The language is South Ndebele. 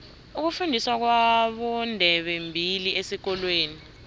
ukufundiswa kwabondebembili esikolweni